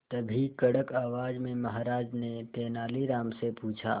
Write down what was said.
तभी कड़क आवाज में महाराज ने तेनालीराम से पूछा